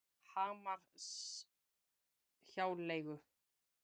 Hamarshjáleigu